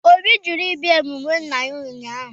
Obi jụrụ ịbịa emume nna ya ụnyahụ.